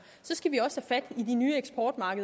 så skal vi også